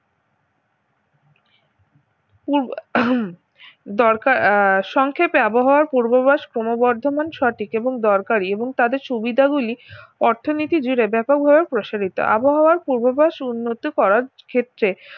পু দরকার আহ সংক্ষেপে আবহাওয়ার পূর্বভাস ক্রমবর্ধমান সঠিক এবং দরকারি এবং তাদের সুবিধাগুলি অর্থনীতি জুড়ে ব্যাপক ভাবে প্রসারিত আবহাওয়ার পূর্বাভাস উন্নতি করার ক্ষেত্রে